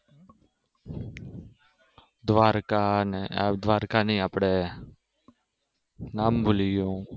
દ્વારકા ને દ્વારકા નહી આપડે નામ ભૂલી ગયો